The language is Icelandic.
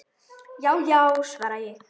Já já, svara ég.